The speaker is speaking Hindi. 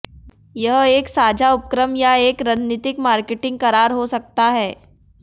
यह एक साझा उपक्रम या एक रणनीतिक मार्केटिंग करार हो सकता है